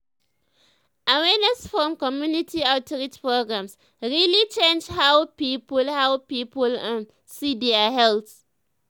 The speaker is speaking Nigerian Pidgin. awareness from community outreach programs really change how people how people um see their health.